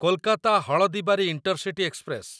Kolkata Haldibari intercity express